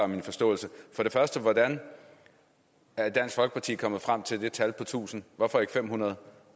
min forståelse for det første hvordan er dansk folkeparti kommet frem til det tal på tusind hvorfor ikke 500